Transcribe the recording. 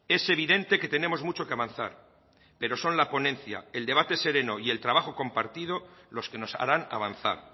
es evidente que tenemos mucho que avanzar pero son la ponencia el debate sereno y el trabajo compartido los que nos harán avanzar